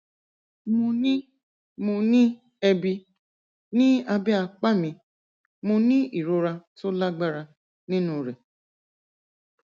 mo ní mo ní ẹbi ní abẹ apá mi mo ní ìrora tó lágbára nínú rè